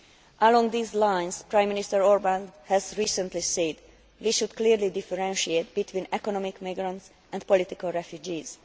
Along these lines Prime Minister Orbán has recently said that we should clearly differentiate between economic migrants and political refugees.